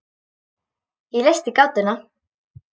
Ég leysti gátuna.